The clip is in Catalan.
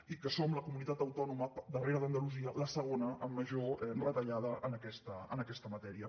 i que som la comunitat autònoma darrere d’andalusia la segona amb major retallada en aquesta matèria